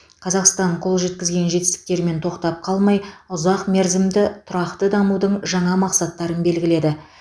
қазақстан қол жеткізген жетістіктерімен тоқтап қалмай ұзақ мерзімді тұрақты дамудың жаңа мақсаттарын белгіледі